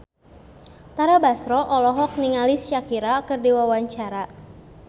Tara Basro olohok ningali Shakira keur diwawancara